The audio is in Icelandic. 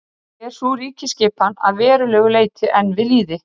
Langflest íslensk stöðuvötn í jökulsorfnum dældum.